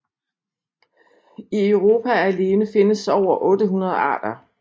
I Europa alene findes over 800 arter